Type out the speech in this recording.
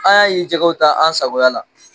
An y'a ye jɛgɛw ta an sagoya la.